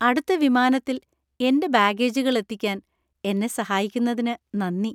അടുത്ത വിമാനത്തിൽ എന്‍റെ ബാഗേജുകൾ എത്തിക്കാൻ എന്നെ സഹായിക്കുന്നതിന് നന്ദി.